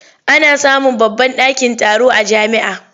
Ana samun babban ɗakin taro a jami'a.